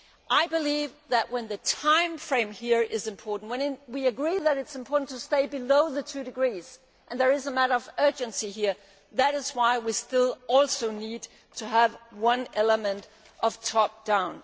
I believe that if the timeframe here is important and if we agree that it is important to stay below the 2°C and there is a matter of urgency here that is why we also still need to have an element of top down'.